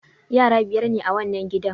Yara biyar ne a wannan gidan.